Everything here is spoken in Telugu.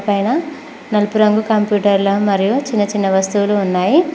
పైన నలుపు రంగు కంప్యూటర్లా మరియు చిన్న చిన్న వస్తువులు ఉన్నాయి.